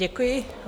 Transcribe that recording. Děkuji.